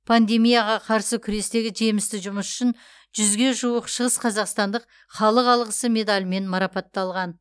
пандемияға қарсы күрестегі жемісті жұмысы үшін жүзге жуық шығысқазақстандық халық алғысы медалімен марапатталған